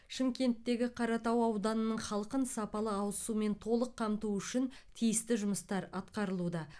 шымкенттегі қаратау ауданының халқын сапалы ауыз сумен толық қамту үшін тиісті жұмыстар атқарылуда